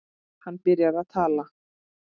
Hann byrjar að tala.